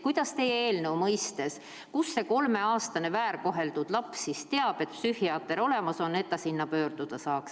Kuidas teie eelnõu puhul see kolmeaastane väärkoheldud laps teab, et psühhiaater on olemas, et tema poole pöörduda?